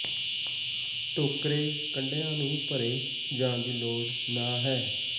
ਟੋਕਰੇ ਕੰਢਿਆ ਨੂੰ ਭਰੇ ਜਾਣ ਦੀ ਲੋੜ ਨਹ ਹੈ